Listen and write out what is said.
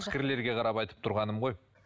қарап айтып тұрғаным ғой